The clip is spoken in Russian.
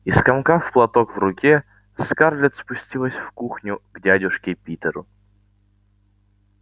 и скомкав платок в руке скарлетт спустилась в кухню к дядюшке питеру